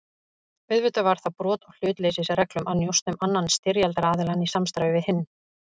Auðvitað var það brot á hlutleysisreglum að njósna um annan styrjaldaraðiljann í samstarfi við hinn.